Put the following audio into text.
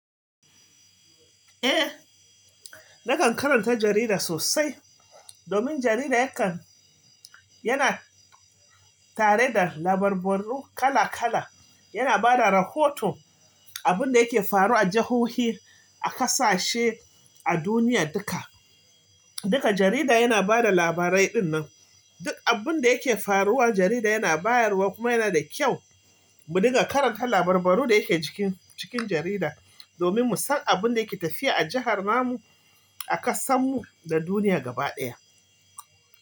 Eh, nakan karanta jarida sosai domin jarida yakan-- yana tare da labarbarrunu kala kala, yana bada rahoto, abin da yake faru a jahohi, a ƙasashe, a duniya duka. Duka jarida yana bada labarai ɗinnan. Duk abun da yake faruwa jarida yana bayarwa kuma yana da kyau mu dinga karanta labarbbarru da yake jikin, cikin jarida domin mu san abin da ke tafiya a jahar mu, a ƙasar mu da duniya gaba ɗaya.